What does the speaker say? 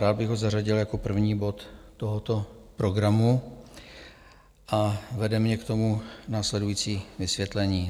Rád bych ho zařadil jako první bod tohoto programu a vede mě k tomu následující vysvětlení.